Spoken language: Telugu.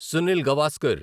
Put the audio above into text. సునిల్ గవాస్కర్